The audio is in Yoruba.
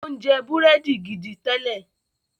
o njẹ Búrẹ́dì gìdí télè